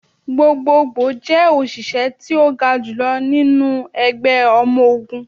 Gbogbogbo jẹ oṣiṣẹ ti o ga julọ ninu ẹgbẹ ọmọ ogun.